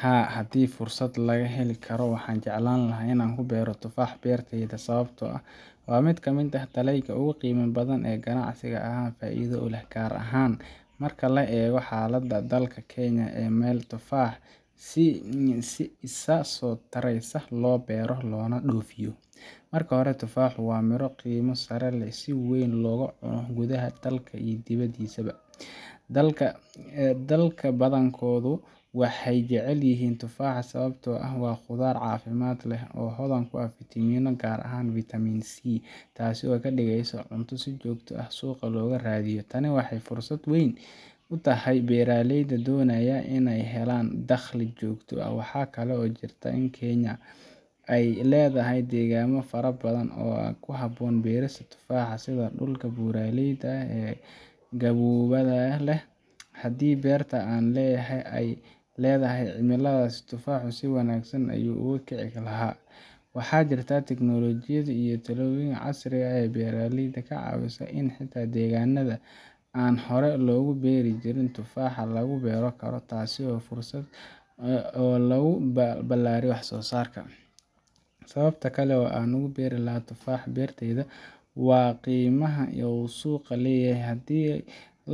Haa, haddii fursad la heli karo, waxaan jeclaan lahaa in aan ku beero tufaax beertayda, sababtoo ah waa mid ka mid ah dalagyada ugu qiimaha badan ee ganacsi ahaan faa’iido u leh, gaar ahaan marka laga eego xaaladda dalka Kenya oo ah meel tufaaxa si isa soo taraysa loo beero loona dhoofiyo. Marka hore, tufaaxu waa midho qiimo sare leh oo si weyn looga cuno gudaha dalka iyo dibaddiisaba. Dadka badankoodu waxay jecel yihiin tufaaxa sababtoo ah waa khudrad caafimaad leh oo hodan ku ah fitamiinno, gaar ahaan Vitamin C, taasoo ka dhigaysa cunto si joogto ah suuqa looga raadiyo. Tani waxay fursad weyn u tahay beeraleyda doonaya inay helaan dakhli joogto ah. Waxaa kale oo jirta in Kenya ay leedahay deegaanno fara badan oo ku habboon beerista tufaaxa, sida dhulka buuraleyda ah ee qaboobaha leh. Haddii beerta aan leeyahay ay leedahay cimiladaas, tufaaxu si wanaagsan ayuu ugu kici lahaa. Waxaa jirta teknoolojiyad iyo talooyin casri ah oo beeraleyda ka caawiya in xitaa deegaannada aan hore loogu beeri jirin tufaaxa lagu beeri karo, taasoo ah fursad kale oo lagu ballaariyo wax-soo-saarka. Sababta kale oo aan ku beerilahaa tufaax beertayda waa qiimaha uu suuqa ku leeyahay. Haddii